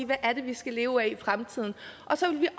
hvad er det vi skal leve af i fremtiden og så vil vi